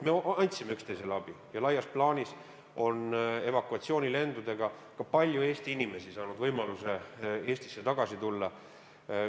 Me andsime üksteisele abi ja laias plaanis on evakuatsioonilendudega palju Eesti inimesi saanud võimaluse Eestisse tagasi tulla.